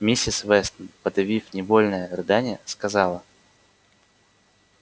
миссис вестон подавив невольное рыдание сказала